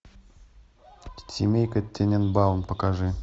семейка тененбаум покажи